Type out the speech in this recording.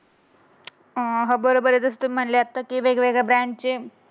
हो बरोबर आहे जशा तुम्हाला तुम्ही म्हणले तसेच त्या ब्रँडचे